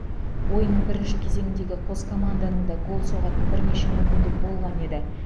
ойынның бірінші кеезңіндегі қос команданың да гол соғатын бірнеше мүмкіндігі болған еді